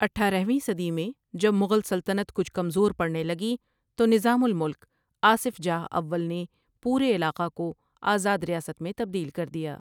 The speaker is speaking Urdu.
اٹھارہ ویں صدی میں جب مغل سلطنت کچھ کمزور پڑنے لگی تو نطام الملک آصف جاہ اول نے پورے علاقہ کو آزاد ریاست میں تبدیل کر دیا ۔